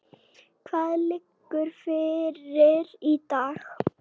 Hvað liggur fyrir í dag?